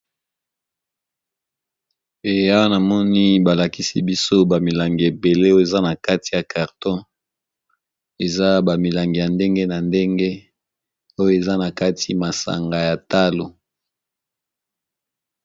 Awa na moni ba lakisi biso ba milangi ébélé oyo eza na kati ya carton, eza ba milangi ya ndenge na ndenge oyo eza na kati, masanga ya talo .